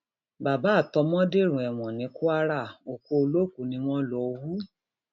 bàbá àtọmọ dèrò ẹwọn ní kwara òkú olókùú ni wọn lọọ hù